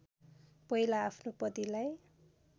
पहिला आफ्नो पतिलाई